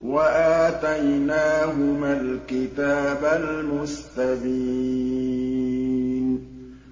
وَآتَيْنَاهُمَا الْكِتَابَ الْمُسْتَبِينَ